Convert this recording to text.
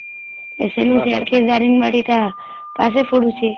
ସେଇନୁ ସିଆଡ଼ କେ ଦାରିଙ୍ଗ ବାଡ଼ି ଟା ପାଖେ ପଡୁଛି